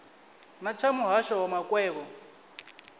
na tsha muhasho wa makwevho